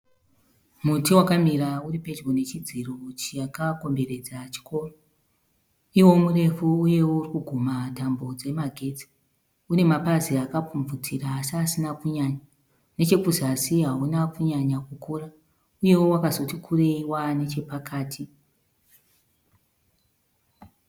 Muti wakamira uri pedyo nechidziro chakakomberedza chikoro. Iwo murefu uyewo uri kugumha tambo dzemagetsi. Une mapazi akapfumvutira asi asina kunyanya. Nechekuzasi hauna kunyanya kukura uyewo wakazoti kurei vaa nechepakati.